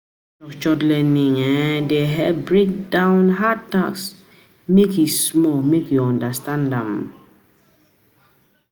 Structured learning um dey help break down um hard tasks make e small make you understand um am